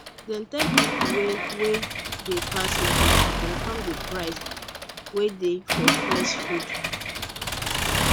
dem tell people wey wey dey pass market to confirm the price wey dey for fresh food